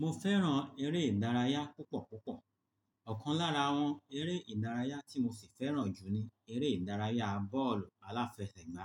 Mo fẹ́ràn eré ìdárayá púpọ̀púpọ̀. Ọ̀kan lára àwọn eré ìdárayá tí mo sì fẹ́ràn ju ni eré ìdárayá bọ́ọ̀lù aláfẹsẹ̀gbá.